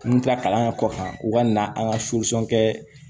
N mi kila kalan kɛ kɔ kan u ka na an ka kɛ